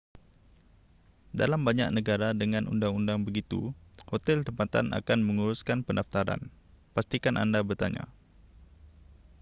dalam banyak negara dengan undang-undang begitu hotel tempatan akan menguruskan pendaftaran pastikan anda bertanya